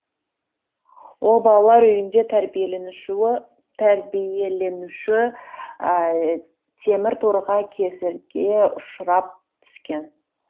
ол балалар үйінде тәрбиеленуші темір торға кесірге ұшырап түскен